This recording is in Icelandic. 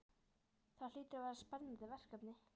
Það hlýtur að vera spennandi verkefni?